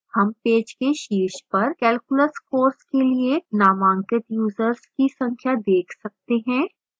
हम पेज के शीर्ष पर calculus course के लिए नामांकित यूजर्स की संख्या देख सकते हैं